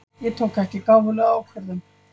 Ég tók ekki gáfulega ákvörðun.